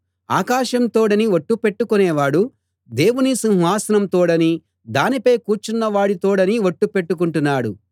ఆకాశం తోడని ఒట్టు పెట్టుకొనేవాడు దేవుని సింహాసనం తోడనీ దానిపై కూర్చున్నవాడి తోడనీ ఒట్టు పెట్టుకొంటున్నాడు